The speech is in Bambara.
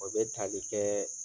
O be tali kɛɛ